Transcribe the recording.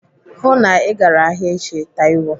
Hụụ na Ị gara ahịa echi, Taiwo.